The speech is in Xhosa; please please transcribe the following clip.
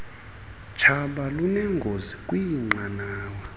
tshaba lunengozi kwiinqanawa